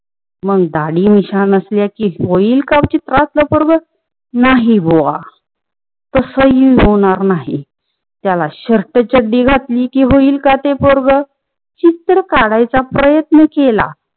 मग दाडी मिश्या नसल्या कि होयील का चित्रातला पोरग नाही बुआ. तस काही होणार नाही. त्याला शर्ट चड्डी घाटली कि होयील का ते पोरग, चित्र काढायचं प्रयत्न केला.